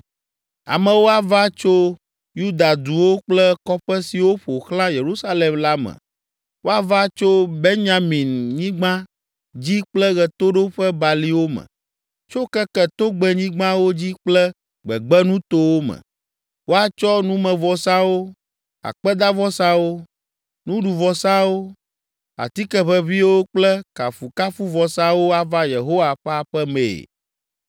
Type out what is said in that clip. Amewo ava tso Yuda duwo kple kɔƒe siwo ƒo xlã Yerusalem la me, woava tso Benyaminyigba dzi kple ɣetoɖoƒebaliwo me, tso keke togbɛnyigbawo dzi kple gbegbenutowo me. Woatsɔ numevɔsawo, akpedavɔsawo, nuɖuvɔsawo, atike ʋeʋĩwo kple kafukafuvɔsawo ava Yehowa ƒe aƒe mee.